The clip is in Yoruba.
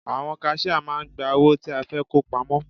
Àwọn kaṣíá máà ń gba owó tí a fẹ́ kó pamọ́.